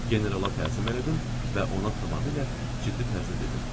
Generala təslim elədim və ona tamamilə ciddi tərzdə dedim.